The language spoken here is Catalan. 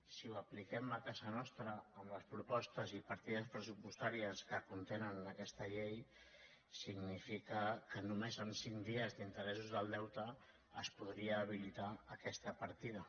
si ho apliquem a casa nostra amb les propostes i partides pressupostàries que con·tenen aquesta llei significa que només amb cinc dies d’interessos del deute es podria habilitar aquesta par·tida